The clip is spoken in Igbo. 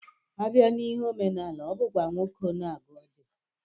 Abịa n'ihe omenala, ọ bụkwa nwoke na-agọ ọjị